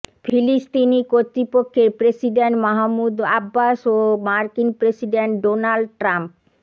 ফিলিস্তিনি কর্তৃপক্ষের president Mahmoud Abbas ও মার্কিন প্রেসিডেন্ট ডোনাল্ড ট্রাম্প